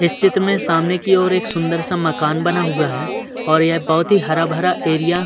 इस चित्र में सामने की ओर एक सुन्दर सा मकान बना हुआ है और ये बोहोत ही हरा भरा एरिया --